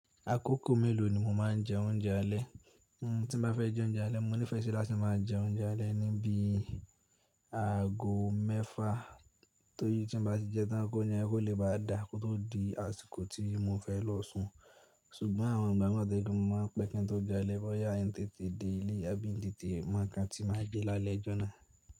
Àkókò mélòó ni mo máa ń jẹ oúnjẹ alẹ́? Tí mo bá fẹ́ jẹ oúnjẹ alẹ́, mo nífẹ̀ẹ́ sí láti máa jẹ oúnjẹ alẹ́ ní bí i aago mẹ́fà Torí tí n bá ti jẹẹ́ tán k'óúnjẹ́ yẹn kó lè bàá dáa kó tó di àsìkò tí mo fẹ́ lọ sùn. Ṣùgbọ́n àwọn ìgbà mìíràn wà tó jẹ́ pé mo máa ń pẹ́ kí n tó jẹun alẹ́ bọ́yá miì tètè dé ilé àbí miì tètè mọ nǹkan tí màá jẹ lálẹ́ ọjọ́ náà.